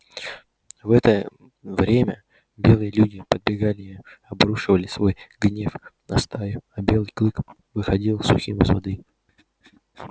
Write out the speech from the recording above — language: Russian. в это время белые люди подбегали и обрушивали свой гнев на стаю а белый клык выходил сухим из воды